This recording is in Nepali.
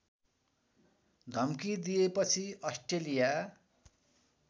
धम्की दिएपछि अस्ट्रेलिया